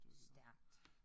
Stærkt